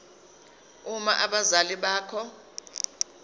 uma abazali bakho